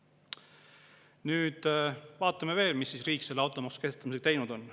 Nüüd vaatame veel, mida riik selle automaksu kehtestamisega teinud on.